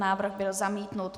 Návrh byl zamítnut.